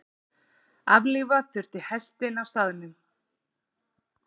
Aflífa þurfti hestinn á staðnum.